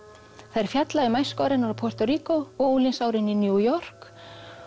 þær fjalla um æskuár hennar á Puerto Rico og unglingsárin í New York